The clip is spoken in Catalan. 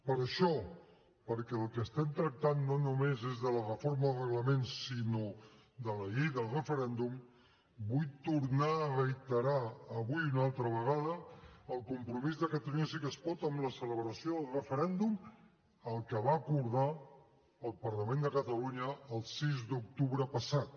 per això perquè del que estem tractant no només és de la reforma del reglament sinó de la llei del referèndum vull tornar a reiterar avui una altra vegada el compromís de catalunya sí que es pot amb la celebració del referèndum el que va acordar el parlament de catalunya el sis d’octubre passat